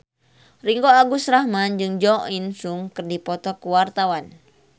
Ringgo Agus Rahman jeung Jo In Sung keur dipoto ku wartawan